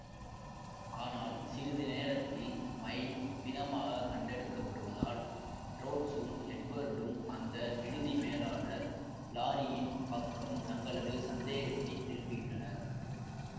ஆனால் சிறிது நேரத்தில் மைன் பிணமாக கண்டெடுக்கப்படுவதால் ரோட்ஸும் எட்வர்டும் அந்த விடுதி மேலாளர் லாரியின் பக்கம் தங்களது சந்தேகத்தை திருப்புகின்றனர்